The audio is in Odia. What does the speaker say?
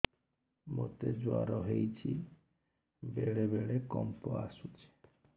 ମୋତେ ଜ୍ୱର ହେଇଚି ବେଳେ ବେଳେ କମ୍ପ ଆସୁଛି